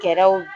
Kɛlɛw